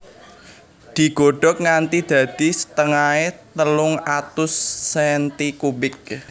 Digodhog nganti dadi setengahé telung atus senti kubik